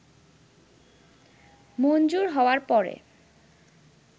মঞ্জুর হওয়ার পরে